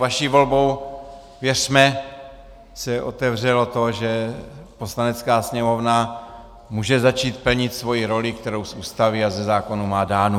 Vaší volbou, věřme, se otevřelo to, že Poslanecká sněmovna může začít plnit svoji roli, kterou z Ústavy a ze zákona má dánu.